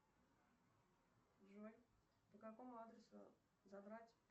джой по какому адресу забрать